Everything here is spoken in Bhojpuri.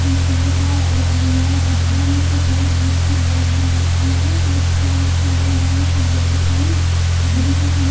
कुरकुरे बा और अंदरवा डब्बा में चॉकलेट बोसकुट सब बा चावल दाल सब बेचताने और दिन के समय--